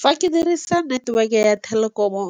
Fa ke dirisa network-e ya Telkom-o